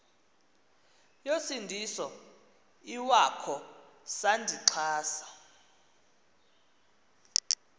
yosindiso iwakho sandixhasa